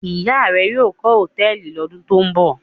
Ìyá rẹ yóò kọ́ hòtẹ́ẹ́lì lọ́dún tó ń bọ̀?